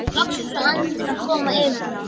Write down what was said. Loksins var andinn að koma yfir hann!